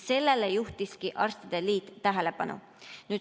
Sellele juhtiski arstide liit tähelepanu.